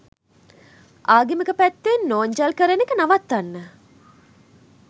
ආගමික පැත්තෙන් නොන්ජල් කරන එක නවත්වන්න